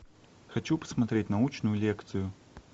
хочу посмотреть научную лекцию